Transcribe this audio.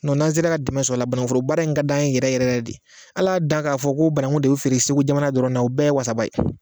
Nɔn n'an sera ka dɛmɛ sɔrɔ a la banangufororbaara in ka d'an yɛrɛ yɛrɛ yɛrɛ de al'a dan k'a fɔ ko banangu de be feere segu jamana dɔrɔnna o bɛɛ ye wasaba ye